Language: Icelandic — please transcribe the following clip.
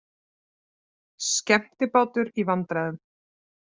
Skemmtibátur í vandræðum